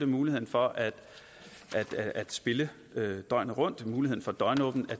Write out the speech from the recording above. muligheden for at spille døgnet rundt muligheden for døgnåbent